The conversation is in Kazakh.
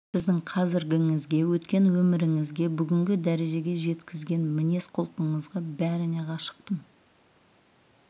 сіздің қазіргіңізге өткен өміріңізге бүгінгі дәрежеге жеткізген мінез-құлқыңызға бәріне ғашықпын